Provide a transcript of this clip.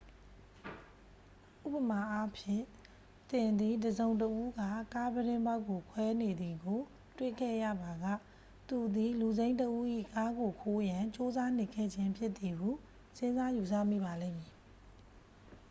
ဥပမာအားဖြင့် သင်သည် တစ်စုံတစ်ဦးက ကားပြတင်းပေါက်ကိုခွဲနေသည်ကို တွေ့ခဲ့ရပါက သူသည် လူစိမ်းတစ်ဦး၏ကားကိုခိုးရန် ကြိုးစားနေခဲ့ခြင်းဖြစ်သည်ဟု စဉ်းစားယူဆမိပါလိမ့်မည်